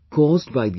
Mohan of Tamilnadu